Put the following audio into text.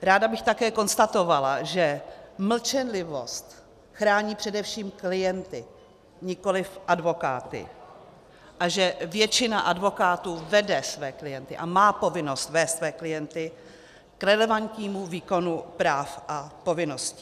Ráda bych také konstatovala, že mlčenlivost chrání především klienty, nikoliv advokáty, a že většina advokátů vede své klienty a má povinnost vést své klienty k relevantnímu výkonu práv a povinností.